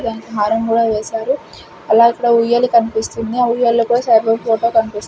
హారం కూడా వేశారు అలాగే ఇక్కడ ఉయ్యాల కనిపిస్తుంది ఆ ఉయ్యాల లో కూడా సాయిబాబా ఫోటో కనిపిస్తుంది.